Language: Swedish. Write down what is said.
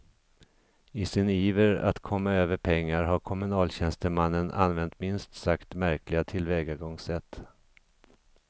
I sin iver att komma över pengar har kommunaltjänstemannen använt minst sagt märkliga tillvägagångssätt.